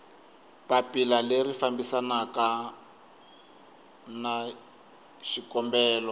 papila leri fambisanaku na xikombelo